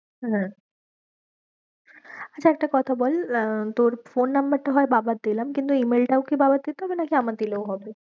হ্যাঁ আচ্ছা একটা কথা বল আহ তোর phone number টা হয় বাবার দিলাম কিন্তু email টাও কি বাবার দিতে হবে নাকি আমার দিলেও হবে?